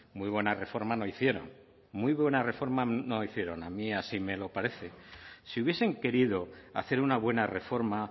muy buena reforma no hicieron muy buena reforma no hicieron a mí así me lo parece si hubiesen querido hacer una buena reforma